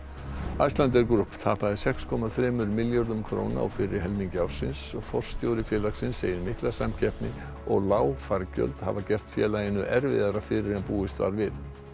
Icelandair Group tapaði sex komma þremur milljörðum króna á fyrri helmingi ársins forstjóri félagsins segir mikla samkeppni og lág fargjöld hafa gert félaginu erfiðara fyrir en búist var við